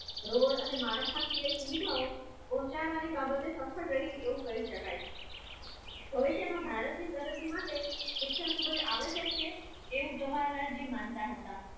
Road અને માળખાકીય સુવિધાઓ પહોંચાડવાની બાબતે સફળ રહી એવું કહી શકાય. ભવિષ્યમાં ભારતની પ્રગતિ માટે એવું જવાહરલાલ જે માનતા હતા